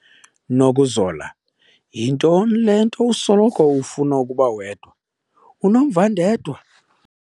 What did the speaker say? Nokuzola! Yintoni le nto usoloko ufuna ukuba wedwa, unomvandedwa?